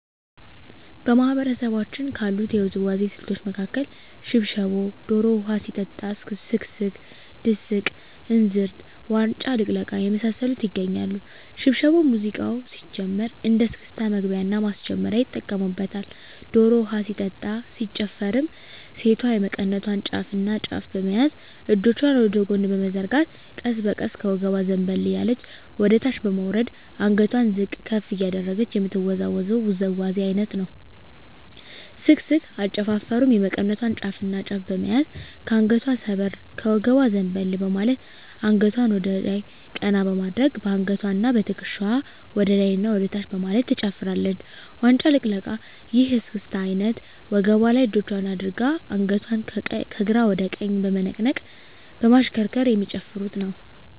በማህበረሰባችን ካሉት የውዝዋዜ ስልቶች መካከል ሽብሻቦ ዶሮ ውሀ ሲጠጣ ስክስክ ድስቅ እንዝርት ዋንጫ ልቅለቃ የመሳሰሉት ይገኛሉ። ሽብሻቦ ሙዚቃው ሲጀምር እንደ እስክስታ መግቢያና ማስጀመሪያ ይጠቀሙበታል። ዶሮ ውሀ ሲጠጣ ሲጨፈርም ሴቷ የመቀነቷን ጫፍና ጫፍ በመያዝ እጆቿን ወደ ጎን በመዘርጋት ቀስ በቀስ ከወገቧ ዘንበል እያለች ወደታች በመውረድ አንገቷን ዝቅ ከፍ እያደረገች የምትወዛወዘው ውዝዋዜ አይነት ነው። ስክስክ አጨፋፈሩም የመቀነቷን ጫፍና ጫፍ በመያዝ ከአንገቷ ሰበር ከወገቧ ዘንበል በማለት አንገቷን ወደላይ ቀና በማድረግ በአንገትዋና በትክሻዋ ወደላይና ወደታች በማለት ትጨፍራለች። ዋንጫ ልቅለቃ ይህ የእስክስታ አይነት ወገቧ ላይ እጆቿን አድርጋ አንገቷን ከግራ ወደ ቀኝ በመነቅነቅ በማሽከርከር የሚጨፍሩት ነው።